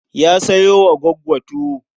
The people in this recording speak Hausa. Ya sayo wa Gwaggo tuwo.